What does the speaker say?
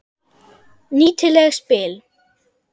Nýtileg spil.